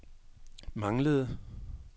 manglede